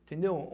Entendeu?